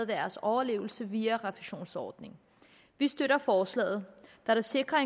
deres overlevelse via refusionsordningen vi støtter forslaget da det sikrer